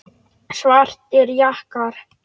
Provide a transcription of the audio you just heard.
Svartir jakkar.